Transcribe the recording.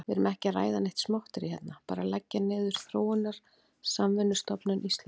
Við erum ekki að ræða neitt smotterí hérna, bara að leggja niður Þróunarsamvinnustofnun Íslands.